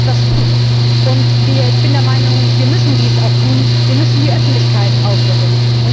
Aber wir können etwas tun, und ich bin der Meinung, wir müssen dies auch tun Wir müssen die Öffentlichkeit aufrütteln.